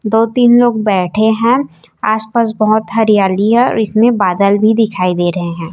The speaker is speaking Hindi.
दो तीन लोग बैठे हैं आस पास बहुत हरियाली है और इसमें बादल भी दिखाई दे रहे हैं।